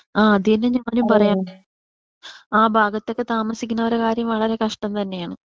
ആ അത് തന്നെയാണ് ഞാനും പറയാൻ വന്നേ. ആ ഭാഗത്തൊക്കെ താമസിക്കുന്നവരെ കാര്യം വളരെ കഷ്ട്ടം തന്നെയാണ്.